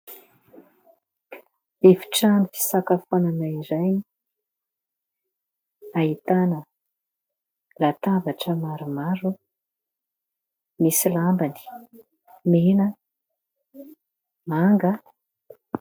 Efitrano fisakafoanana iray. Ahitana latabatra maromaro. Misy lambany mena, manga.